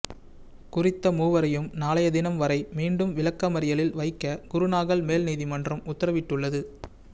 குறித்த மூவரையும் நாளைய தினம் வரை மீண்டும் விளக்கமறியலில் வைக்க குருநாகல் மேல் நீதிமன்றம் உத்தரவிட்டுள்ளது